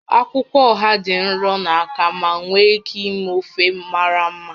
Akwụkwọ oha dị nro na aka ma nwee ike ime ofe mara mma